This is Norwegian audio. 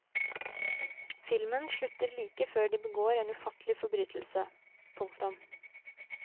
Filmen slutter like før de begår en ufattelig forbrytelse. punktum